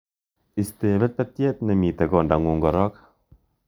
Isten betbetyet nemitten kondangung' korok